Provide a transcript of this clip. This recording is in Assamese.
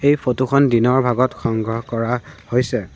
এই ফটো খন দিনৰ ভাগত সংগ্ৰহ কৰা হৈছে।